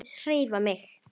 HREYFA MIG!